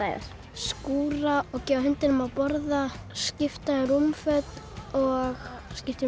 skúra og gefa hundinum að borða skipta um rúmföt og skipta um